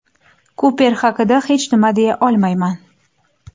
Kuper haqida hech nima deya olmayman.